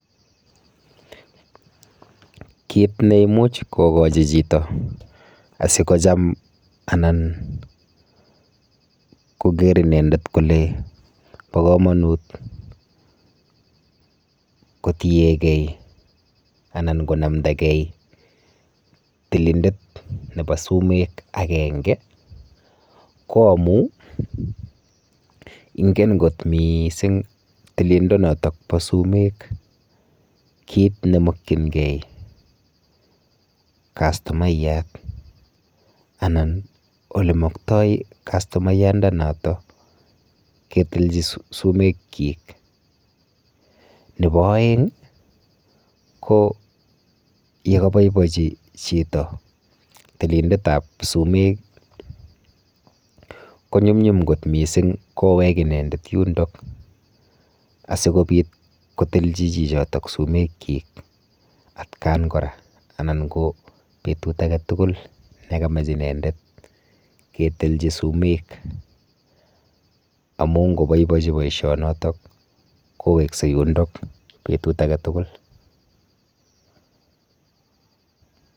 Kit ne imuch kogochi chito asigocham anan koger inendet kole bokamanut kotiege anan konamnda gei tilindet nebo sumek agenge koamu ingen kot mising tilindo notokbo sumek kit mokyingei kastomaiyat anan olemoktoi kastomaiyandanoto ketilchi sumekyik. Nebo aeng ko yekaboibochi chito tilindetab sumek konyumnyum kot mising kowek inendet yundok asigopit kotilchi chichotok sumekyik atkan kora anan ko betut age tugul nekamach inendet ketilchi sumek amu koboibachi boisionotok kowekse yundok betut age tugul.